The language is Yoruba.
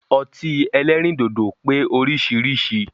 Ọtí ẹlẹ́rìndòdò pé oríṣiríṣi